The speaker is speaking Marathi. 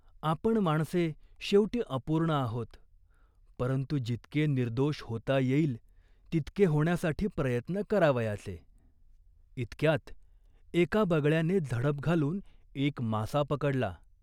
आपण माणसे शेवटी अपूर्ण आहोत, परंतु जितके निर्दोष होता येईल तितके होण्यासाठी प्रयत्न करावयाचे." इतक्यात एका बगळ्याने झडप घालून एक मासा पकडला.